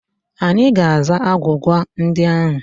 Anyị ga-aza agwụgwa ndị ahụ.